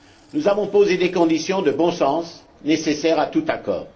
Nous avons posé des conditions de bon sens nécessaires à tout accord.